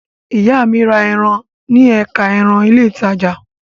Ìyá mi ra ẹran ní ẹ̀ka ẹran ní ilé-ìtajà.